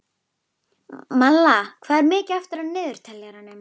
Malla, hvað er mikið eftir af niðurteljaranum?